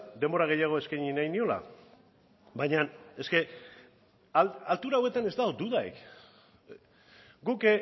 denbora gehiago eskaini nahi niola baina altura hauetan ez dago dudarik guk